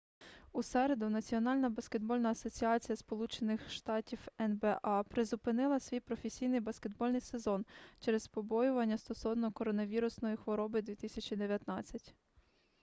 у середу національна баскетбольна асоціація сполучених штатів нба призупинила свій професійний баскетбольний сезон через побоювання стосовно коронавірусної хвороби 2019